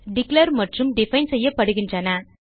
declare மற்றும் define செய்யப்படுகிறது